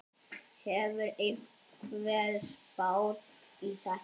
Hefur einhver spáð í þetta?